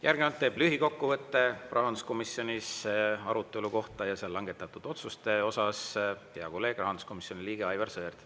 Järgnevalt teeb lühikokkuvõtte rahanduskomisjoni arutelu kohta ja seal langetatud otsuste osas hea kolleeg, rahanduskomisjoni liige Aivar Sõerd.